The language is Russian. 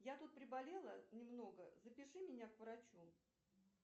я тут приболела немного запиши меня к врачу